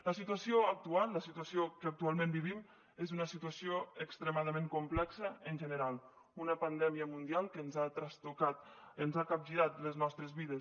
la situació actual la situació que actualment vivim és una situació extremadament complexa en general una pandèmia mundial que ens ha trastocat ens ha capgirat les nostres vides